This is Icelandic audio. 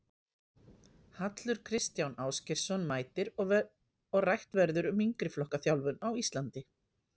Hallur Kristján Ásgeirsson mætir og rætt verður um yngri flokka þjálfun á Íslandi.